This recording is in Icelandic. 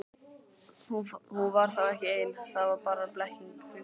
Hún var þá ekki ein, það var bara blekking hugans.